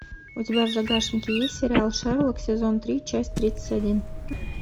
у тебя в загашнике есть сериал шерлок сезон три часть тридцать один